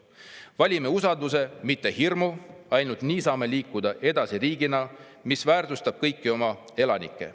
Valime usalduse, mitte hirmu, ainult nii saame liikuda edasi riigina, mis väärtustab kõiki oma elanikke.